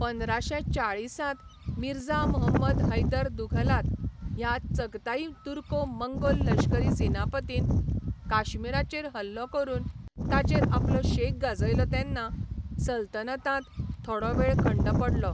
पंदराशेंचाळिसांत मिर्झा मुहंमद हैदर दुघलात ह्या चगताई तुर्को मंगोल लश्करी सेनापतीन काश्मीराचेर हल्लो करून ताचेर आपलो शेक गाजयलो तेन्ना सल्तनतांत थोडो वेळ खंड पडलो.